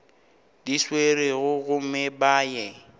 di swerego gomme ba ye